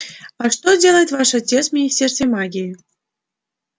а что делает ваш отец в министерстве магии